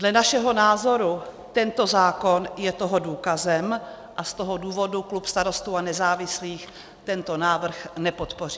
Dle našeho názoru tento zákon je toho důkazem, a z toho důvodu klub Starostů a nezávislých tento návrh nepodpoří.